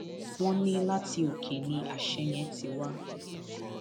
wọn ní láti òkè ni àṣẹ yẹn ti wá